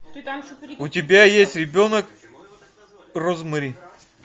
у тебя есть ребенок розмари